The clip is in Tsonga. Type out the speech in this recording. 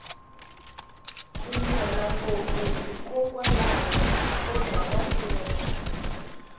ku nyuhela ngopfu hi kokwalaho ko dya mafurha